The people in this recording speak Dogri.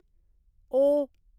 ओ